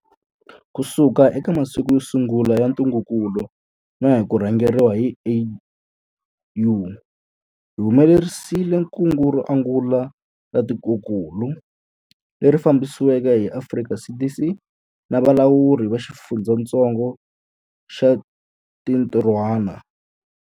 Kusuka eka masiku yo sungula ya ntungukulu na hi ku rhangeriwa hi AU, hi humelerisile kungu ro angula ra tikokulu, leri fambisiweke hi Afrika CDC na valawuri va xifundzatsongo va xintirhwana.